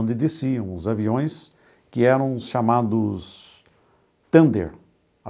Onde desciam os aviões que eram chamados Thunder.